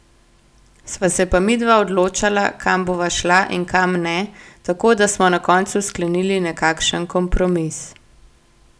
Sva se pa midva odločala, kam bova šla in kam ne, tako da smo na koncu sklenili nekakšen kompromis.